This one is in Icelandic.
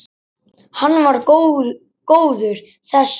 Hann var góður þessi.